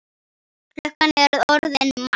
Klukkan er orðin margt.